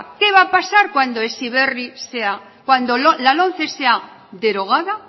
qué va a pasar cuando la lomce sea derogada